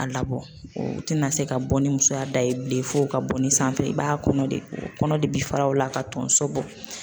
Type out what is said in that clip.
A labɔ tɛna se ka bɔ ni musoya da ye bilen fo ka bɔ ni sanfɛ ye i b'a kɔnɔ de kɔnɔ de bi fara o la ka tonso bɔ.